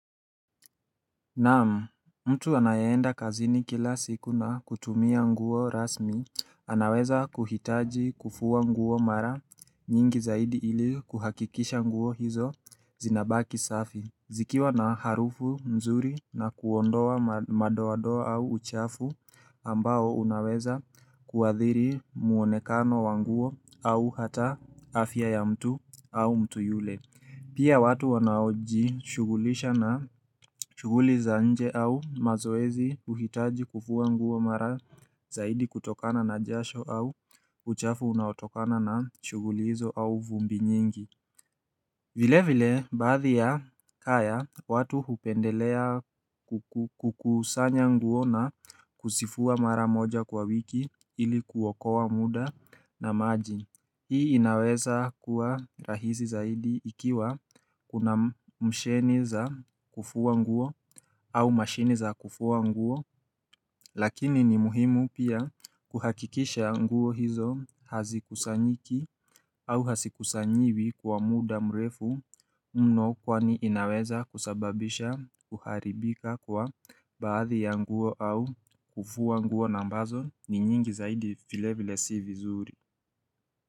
Naam, mtu anayeenda kazini kila siku na kutumia nguo rasmi, anaweza kuhitaji kufua nguo mara nyingi zaidi ili kuhakikisha nguo hizo zinabaki safi. Zikiwa na harufu mzuri na kuondoa madoadoa au uchafu ambao unaweza kuadhiri muonekano wa nguo au hata afya ya mtu au mtu yule. Pia watu wanaojishugulisha na shuguli za nje au mazoezi uhitaji kufuwa nguo mara zaidi kutokana na jasho au uchafu unaotokana na shughuli hizo au vumbi nyingi. Vile vile, baadhi ya kaya, watu hupendelea kukusanya nguo na kuzifua mara moja kwa wiki ili kuokoa muda na maji. Hii inaweza kuwa rahisi zaidi ikiwa kuna misheni za kufua nguo au masheni za kufua nguo Lakini ni muhimu pia kuhakikisha nguo hizo hazikusanyiki au hasikusanyiwi kwa muda mrefu mno kwani inaweza kusababisha kuharibika kwa baadhi ya nguo au kufua nguo ambazo ni nyingi zaidi vilevile si vizuri.